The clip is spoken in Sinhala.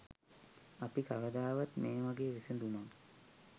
අපි කවදාවත් මේ වගේ විසඳුමක්